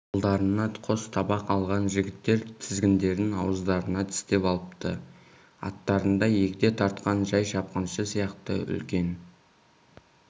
қолдарына қос табақ алған жігіттер тізгіндерін ауыздарына тістеп алыпты арттарында егде тартқан жай шапқыншы сияқты үлкен